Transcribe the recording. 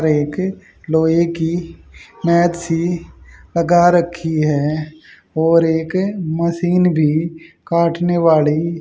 एक लोहे की मेथ्सी सी लगा रखी है और एक मशीन भी काटने वाली--